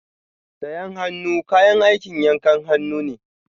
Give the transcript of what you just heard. Sayen hannu kayan aikin yankan hannu ne.